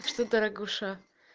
что дорогуша